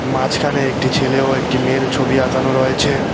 মাঝখানে একটি ছেলে ও একটি মেয়ের ছবি আঁকানো রয়েছে।